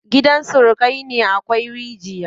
Gidan surukai na akwai rigiya.